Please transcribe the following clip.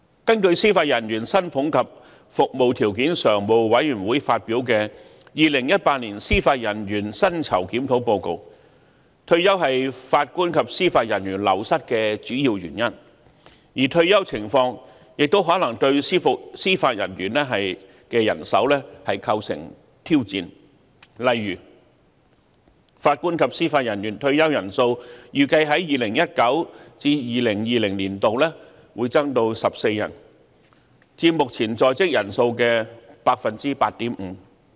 根據司法人員薪俸及服務條件常務委員會發表的《二零一八年司法人員薪酬檢討報告》，退休是法官及司法人員流失的主要原因，而退休的情況亦可能對司法人員的人手構成挑戰，例如法官及司法人員退休人數預計在 2019-2020 年度會增至14人，佔目前在職人數的 8.5%。